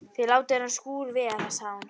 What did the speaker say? Þið látið þennan skúr vera sagði hún.